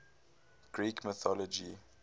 greek mythology